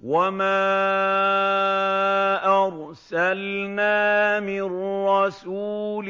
وَمَا أَرْسَلْنَا مِن رَّسُولٍ